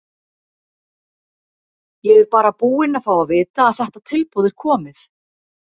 Ég er bara búinn að fá að vita að þetta tilboð er komið.